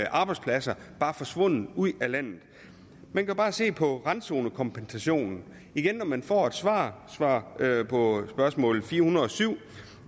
arbejdspladser bare forsvundet ud af landet man kan bare se på randzonekompensationen igen når man får et svar svar på spørgsmål fire hundrede og syv